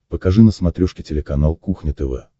покажи на смотрешке телеканал кухня тв